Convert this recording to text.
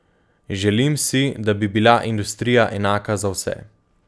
Želim si, da bi bila industrija enaka za vse.